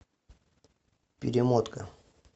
перемотка